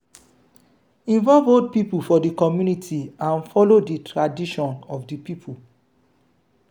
involve old pipo for di community and follow di tradition of di pipo